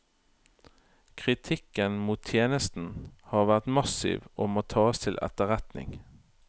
Kritikken mot tjenesten har vært massiv og må tas til etterretning.